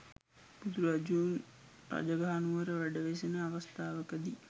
බුදුරදුන් රජගහ නුවර වැඩ වෙසෙන අවස්ථාවකදී